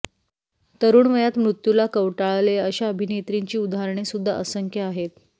तरुण वयात मृत्युला कवटाळले अशा अभिनेत्रींची उदाहरणेसुद्धा असंख्य आहेत